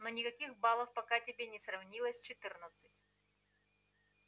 но никаких балов пока тебе не сравнялось четырнадцати